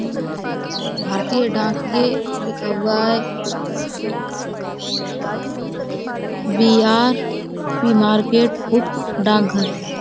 भारतीय डाकिये लिखा हुआ है। बिहार के मार्केट उपडाक घर।